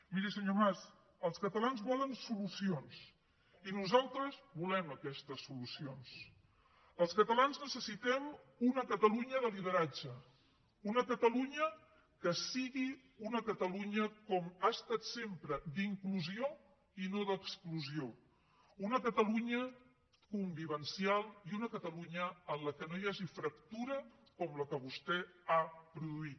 miri senyor mas els catalans volen solucions i nosaltres volem aquestes solucions els catalans necessitem una catalunya de lideratge una catalunya que sigui una catalunya com ha estat sempre d’inclusió i no d’exclusió una catalunya convivencial i una catalunya en què no hi hagi fractura com la que vostè ha produït